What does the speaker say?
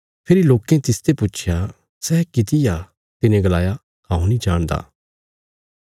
फेरी लोकें तिसते पुच्छया सै किति आ तिने गलाया हऊँ नीं जाणदा